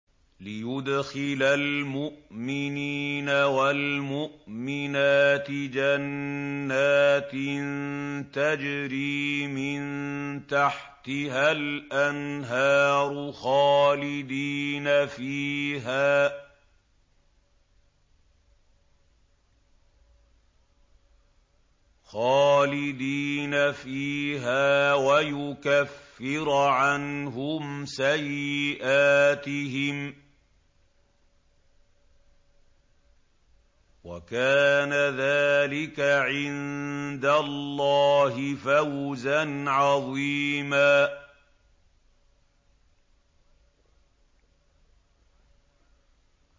لِّيُدْخِلَ الْمُؤْمِنِينَ وَالْمُؤْمِنَاتِ جَنَّاتٍ تَجْرِي مِن تَحْتِهَا الْأَنْهَارُ خَالِدِينَ فِيهَا وَيُكَفِّرَ عَنْهُمْ سَيِّئَاتِهِمْ ۚ وَكَانَ ذَٰلِكَ عِندَ اللَّهِ فَوْزًا عَظِيمًا